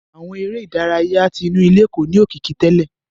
Àwọn eré ìdárayá tí inú ilé kò ní òkìkí tẹlẹ.